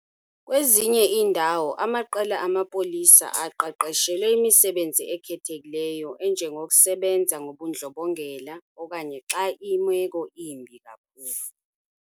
Kwezinye iindawo, amaqela amapolisa aqeqeshelwe imisebenzi ekhethekileyo enjengokusebenza ngobundlobongela, okanye xa imeko imbi kakhulu.